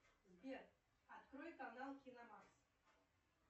сбер открой канал кино мас